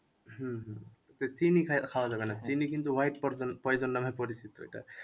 হম হম তো চিনি খাই খাওয়া যাবে না চিনি কিন্তু white poision নামে পরিচিত এটা